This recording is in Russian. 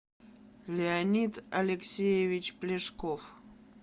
леонид алексеевич плешков